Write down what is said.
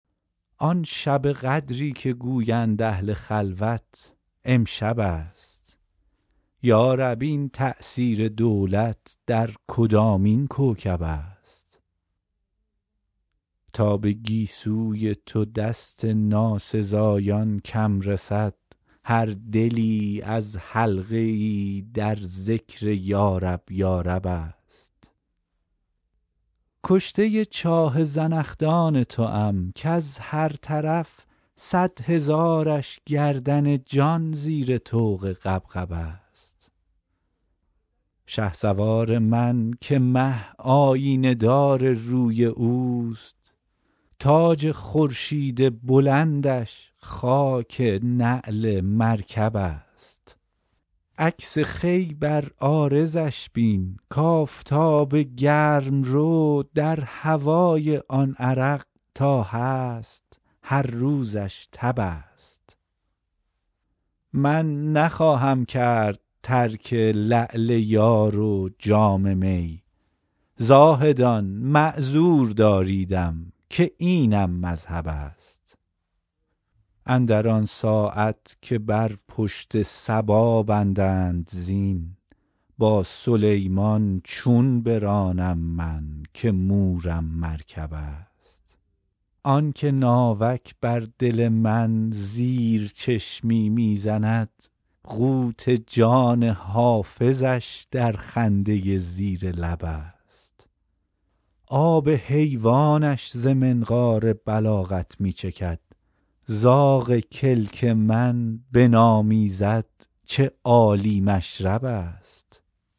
آن شب قدری که گویند اهل خلوت امشب است یا رب این تأثیر دولت در کدامین کوکب است تا به گیسوی تو دست ناسزایان کم رسد هر دلی از حلقه ای در ذکر یارب یارب است کشته چاه زنخدان توام کز هر طرف صد هزارش گردن جان زیر طوق غبغب است شهسوار من که مه آیینه دار روی اوست تاج خورشید بلندش خاک نعل مرکب است عکس خوی بر عارضش بین کآفتاب گرم رو در هوای آن عرق تا هست هر روزش تب است من نخواهم کرد ترک لعل یار و جام می زاهدان معذور داریدم که اینم مذهب است اندر آن ساعت که بر پشت صبا بندند زین با سلیمان چون برانم من که مورم مرکب است آن که ناوک بر دل من زیر چشمی می زند قوت جان حافظش در خنده زیر لب است آب حیوانش ز منقار بلاغت می چکد زاغ کلک من بنامیزد چه عالی مشرب است